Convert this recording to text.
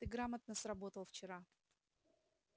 ты грамотно сработал вчера